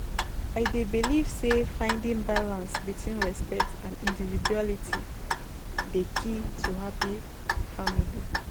I dey believe say finding balance between respect and individuality dey key to happy family life.